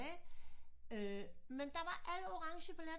Men der var alle orangebilletterne